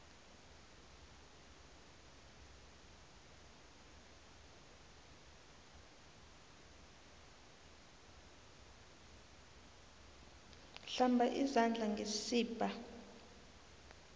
hlamba izandla ngesibha